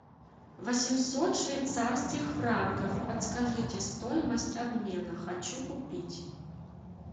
восемьсот швейцарских франков подскажите стоимость обмена хочу купить